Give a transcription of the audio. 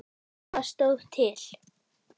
Hvað stóð til?